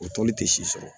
O tɔli tɛ si sɔrɔ